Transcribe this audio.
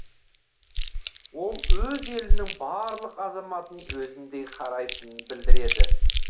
ол өз елінің барлық азаматын өзіндей қарайтынын білдіреді